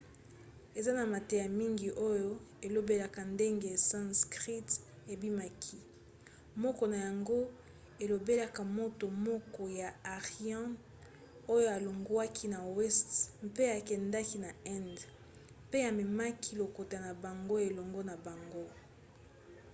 eza na mateya mingi oyo elobelaka ndenge sanskrit ebimaki. moko na yango elobelaka moto moko ya aryan oyo alongwaki na weste mpe akendaki na inde mpe amemaki lokota na bango elongo na bango